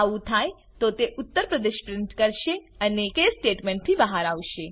આવું થાય તો તે ઉત્તર પ્રદેશ પ્રિન્ટ કરશે અને કેસ સ્ટેટમેંટ થી બહાર આવશે